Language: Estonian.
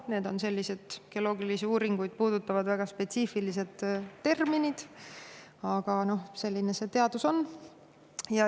Need on sellised geoloogilisi uuringuid puudutavad väga spetsiifilised terminid, aga selline see teadus on.